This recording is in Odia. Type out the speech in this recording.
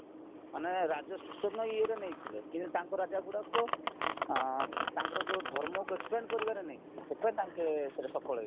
ମାନେ ରାଜ୍ୟ ଶାସନ ଇଏରେ ନେଇଥିଲେ କିନ୍ତୁ ତାଙ୍କ ରାଜା ଗୁଡାକ ଅଂ ତାଙ୍କର ଯୋଉ ଧର୍ମକୁ expend କରିବାରେ ନେଇଥିଲେ ସେଥିପାଇଁ ସଫଳ ହେଇଚି